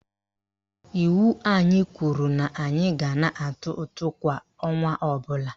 Iwu anyị kwuru na anyị ga na-atụ ụtụ kwa ọnwa ọbụla